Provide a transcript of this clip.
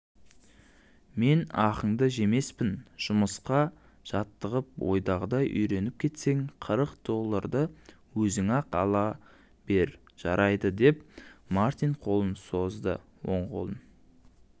мен ақыңды жемеспін жұмысқа жаттығып ойдағыдай үйреніп кетсең қырық долларды өзің-ақ ала бержарайды деп мартин қолын созды ол қолын